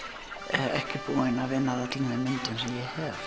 ekki búin að vinna að öllum þeim myndum sem ég hef